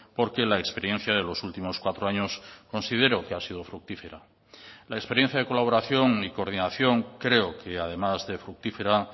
porque la experiencia de los últimos cuatro años considero que ha sido fructífera la experiencia de colaboración y coordinación creo que además de fructífera